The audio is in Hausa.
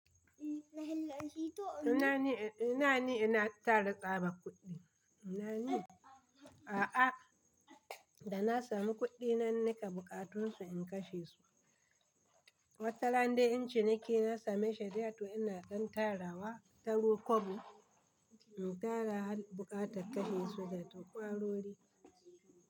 Ina ni, ina ni ina tara tsabar kuɗi. Ina ni, a'a, da na sami kuɗi nan nika buƙatunsu in kashe su. Wataran dai in ciniki na same shi da yawa ina zan tara wa, taro kwabo in tara buƙata kashe su da turkwarori.